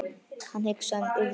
Hann hugsaði um Urði.